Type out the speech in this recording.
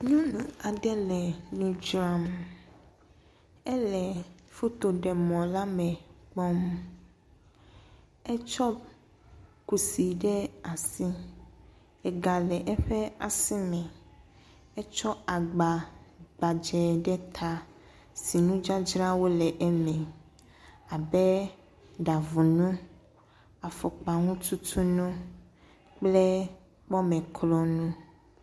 Nyɔnu aɖe le nu dzram. Ele fotoɖemɔ la me kpɔm. Etsɔ kusi ɖe asi. Ega le eƒe asime. Etsɔ agba gbadzɛ ɖe ta si nudzadzrawo le eme abe: ɖavunu, afɔkpaŋututunukple kpɔmeklɔnu.